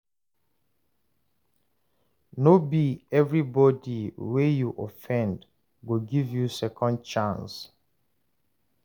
No be everybody wey you offend go give you second chance.